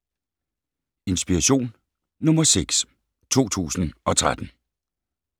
Inspiration nr. 6 2013